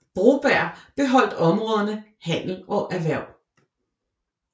Broberg beholdt områderne handel og erhverv